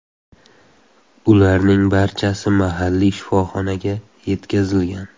Ularning barchasi mahalliy shifoxonaga yetkazilgan.